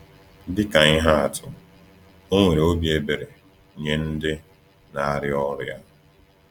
Dị ka ihe atụ, ọ nwere obi ebere nye ndị na-arịa ọrịa.